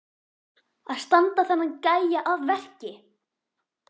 Að standa þennan gæja að verki!